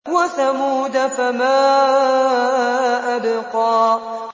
وَثَمُودَ فَمَا أَبْقَىٰ